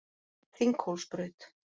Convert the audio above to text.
Þinghólsbraut